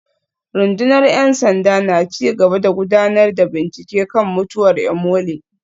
Rundunar ‘yan sanda na ci gaba da gudanar da bincike kan mutuwar Imole